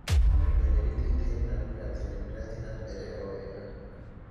Tũma ndũmĩrĩri twitter-inĩ na uuge atĩ nĩndĩrathĩĩ na mbere o wega